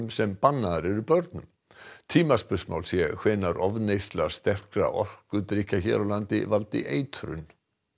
sem bannaðar eru börnum tímaspursmál sé hvenær ofneysla sterkra orkudrykkja hér á landi valdi eitrun